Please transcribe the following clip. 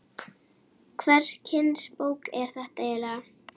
Hvers kyns bók er þetta eiginlega?